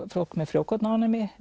fólk með frjókornaofnæmi